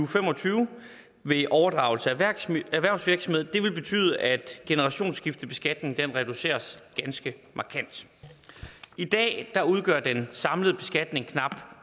fem og tyve ved overdragelse af erhvervsvirksomhed vil betyde at generationsskiftebeskatningen reduceres ganske markant i dag udgør den samlede beskatning knap